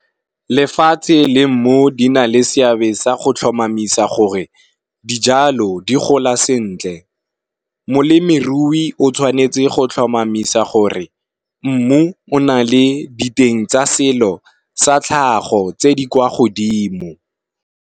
Lefatshe le mmu di na le seabe sa go tlhomamisa gore dijalo di gola sentle, molemirui o tshwanetse go tlhomamisa gore mmu o na le diteng tsa selo sa tlhago tse di kwa godimo.